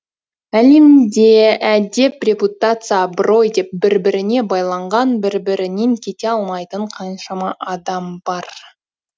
әлемде әдеп репутация абырой деп бір біріне байланған бір бірінен кете алмайтын қаншама адам бар